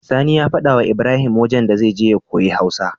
Sani ya faɗa wa Ibrahim wajan da zai je ya koyi hausa